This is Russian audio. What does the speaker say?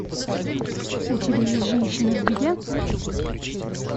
у тебя есть женщина в беде